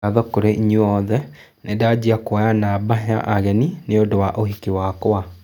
Ngatho kũrĩ inyuĩ othe, nĩndanjia kwoya namba ya ageni nĩũndũ wa ũhiki wakwa